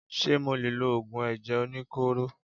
Ṣé mo lè lo Ògùn ẹ̀jẹ̀ oníkóró.?